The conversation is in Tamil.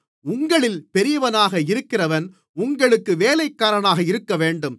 உங்களில் பெரியவனாக இருக்கிறவன் உங்களுக்கு வேலைக்காரனாக இருக்கவேண்டும்